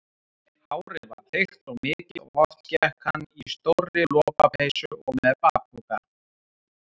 Hárið var þykkt og mikið og oft gekk hann í stórri lopapeysu og með bakpoka.